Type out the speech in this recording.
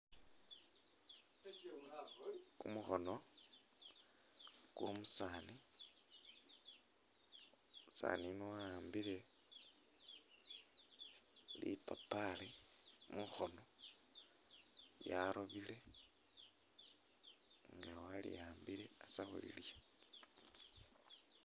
Kumukhono kwomusani umusani yuno wa’ambile lipapari mukhono lyarobire nga aliambile astakhulya.